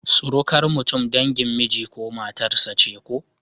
Surukar mutum dangin miji ko matar sa ce ko?